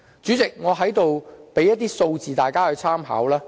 主席，我在這裏提供一些數字讓大家參考。